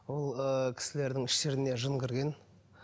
ол ы кісілердің іштеріне жын кірген